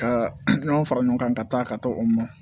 Ka nɔnɔ fara ɲɔgɔn kan ka taa ka to o mɔn